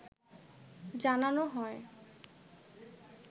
জানানো হয়